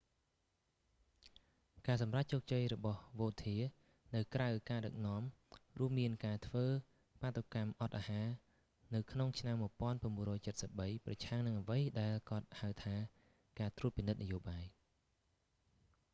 ការសម្រេចជោគជ័យរបស់វោធា vautier នៅក្រៅការដឹកនាំ រួមមានការធ្វើបាតុកម្មអត់អាហារនៅក្នុងឆ្នាំ1973 ប្រឆាំងនឹងអ្វីដែលគាត់ហៅថាការត្រួតពិនិត្យនយោបាយ